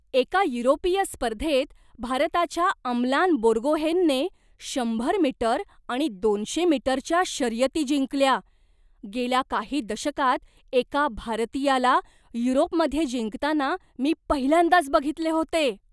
एका युरोपीय स्पर्धेत भारताच्या अमलान बोर्गोहेनने शंभर मीटर आणि दोनशे मीटरच्या शर्यती जिंकल्या. गेल्या काही दशकांत एका भारतीयाला युरोपमध्ये जिंकताना मी पहिल्यांदाच बघितले होते.